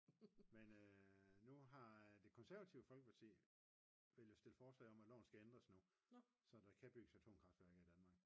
men nu har det konservative folkeparti stillet forslag til at loven den skal ændres nu så der kan bygges atomkraftværker i Danmark